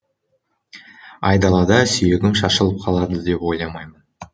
айдалада сүйегім шашылып қалады деп ойламаймын